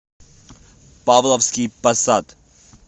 павловский посад